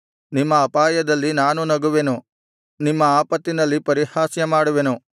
ನಿಮ್ಮ ಅಪಾಯದಲ್ಲಿ ನಾನೂ ನಗುವೆನು ನಿಮ್ಮ ಆಪತ್ತಿನಲ್ಲಿ ಪರಿಹಾಸ್ಯ ಮಾಡುವೆನು